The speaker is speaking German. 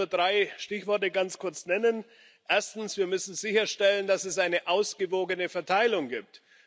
Ich will da nur drei Stichworte ganz kurz nennen Erstens Wir müssen sicherstellen, dass es eine ausgewogene Verteilung gibt.